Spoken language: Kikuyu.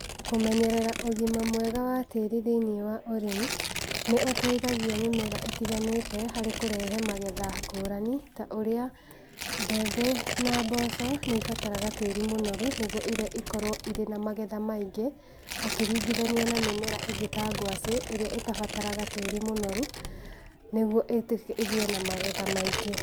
Kũmenyerera ũgima mwega wa tĩri thĩini wa ũrĩmi, nĩũteithagia mĩmera ĩtiganĩte harĩ kũrehe magetha ngũrani ta ũrĩa, mbembe na mboco, nĩibataraga tĩri mũnoru, nĩguo irio ikorwo irĩ na magetha maingĩ, ũkĩringithania na mĩmera ĩngĩ ta ngwacĩ, ĩrĩa ĩtabataraga tĩri mũnoru nĩguo ĩgĩe na magetha maingĩ